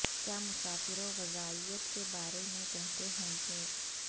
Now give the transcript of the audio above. کیا مسافروں غذائیت کے بارے میں کہتے ہیں کہ